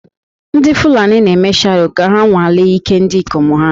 Ndị Fulani na-eme Sharo ka ha nwalee ike ndị ikom ha